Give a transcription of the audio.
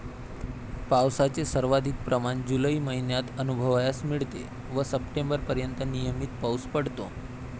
पावसाचे सर्वाधिक प्रमाण जुलै महिन्यात अनुभवावयास मिळते व सप्टेंबर पर्यंत नियमित पाऊस पडतो.